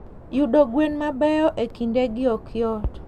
Yudo gwen mabeyo e kindegi ok yot.